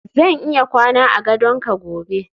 zan iya kwana a gadon ka gobe